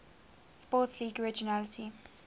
sports league originally